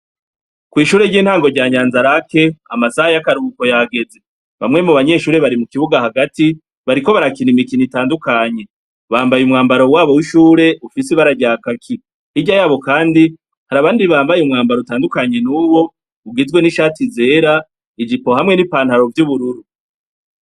Kw'ishure ry'intango rya Nyanza-Lac, amasaha y'akaruhuko yageze; bamwe mu banyeshure bari mu kibuga hagati, bariko barakina imikino itandukanye; bambaye umwambaro wabo w'ishure, ufise ibara rya kaki. Hirya y'abo Kandi hari abandi bambaye umwambaro utandukanye n'uwo, ugizwe n'ishati zera, ijimbo hamwe n'ipantaro vy'ubururu.